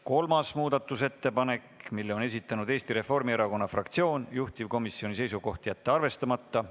Kolmanda muudatusettepaneku on esitanud Eesti Reformierakonna fraktsioon, juhtivkomisjoni seisukoht on jätta see arvestamata.